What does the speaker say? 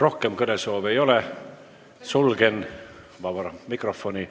Rohkem kõnesoove ei ole, sulgen vaba mikrofoni.